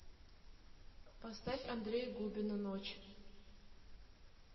поставь андрея губина ночь